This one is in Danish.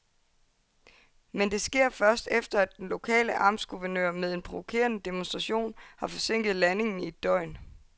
Men det sker først, efter at den lokale amtsguvernør med en provokerende demonstration har forsinket landingen i et døgn.